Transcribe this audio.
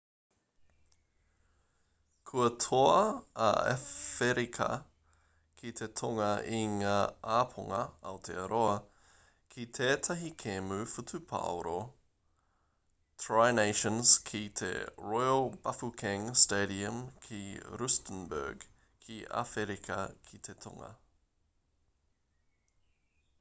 kua toa a āwherika ki te tonga i ngā ōpango aotearoa ki tētahi kēmu whutupōro tri nations ki te royal bafokeng stadium ki rustenburg ki āwherika ki te tonga